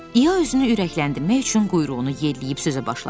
İya özünü ürəkləndirmək üçün quyruğunu yelləyib sözə başladı.